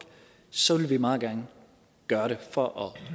så vil vi meget gerne gøre det for